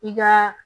I ka